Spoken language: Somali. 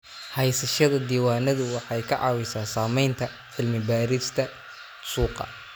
Haysashada diiwaanadu waxay ka caawisaa samaynta cilmi baarista suuqa.